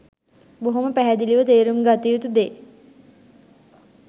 බොහොම පැහැදිලිව තේරුම් ගත යුතු දේ.